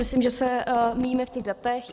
Myslím, že se míjíme v těch datech.